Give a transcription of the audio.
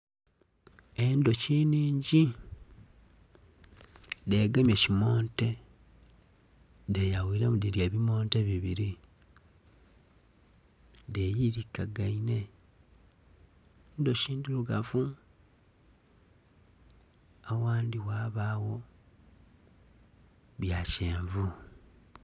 Endhuki nnhingi dhegemye kimonte dheyawiremu dhiri ebimonte bibiri dheyirikagainhe. Endhuki ndhirugavu agandhi ghabagho bya kyenvu.